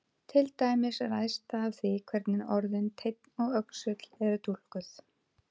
Til dæmis ræðst það af því hvernig orðin teinn og öxull eru túlkuð.